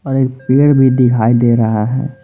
और एक पेड़ भी दिखाई दे रहा है।